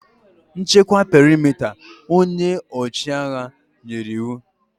Nchekwa perimeta! Onye ọchịagha nyere iwu